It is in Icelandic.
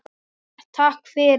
Hart takk fyrir.